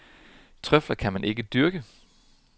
Trøfler kan man ikke dyrke.